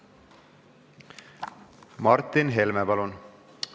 Martin Helme, palun!